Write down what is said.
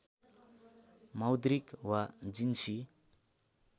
मौद्रिक वा जिन्सी